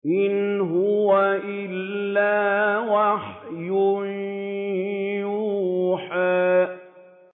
إِنْ هُوَ إِلَّا وَحْيٌ يُوحَىٰ